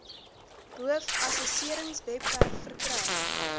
boov assesseringswebwerf verkry